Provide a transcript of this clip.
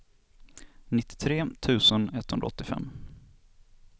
nittiotre tusen etthundraåttiofem